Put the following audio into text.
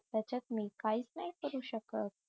त्याच्यात मी काहीच नाही करू शकत